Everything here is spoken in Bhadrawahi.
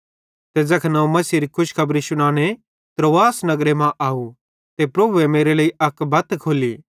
ते ज़ैखन अवं मसीहेरी खुशखबरी शुनाने त्रोआस नगरे मां आव ते प्रभुए मेरे लेइ अक बत खोल्ली